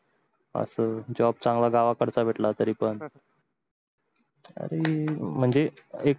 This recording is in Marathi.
अस job चांगला गाव कडचा भेटला तरी पण तरी म्हणजे